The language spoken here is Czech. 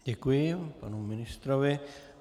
Děkuji panu ministrovi.